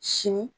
Sini